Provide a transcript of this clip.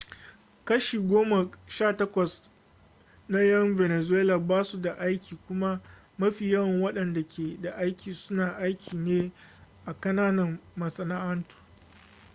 kashi goma sha takwas na ƴan venezuela ba su da aiki kuma mafi yawan waɗanda ke da aiki suna aiki ne a kananan masana'antu